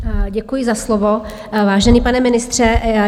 Děkuji za slovo, vážený pane ministře.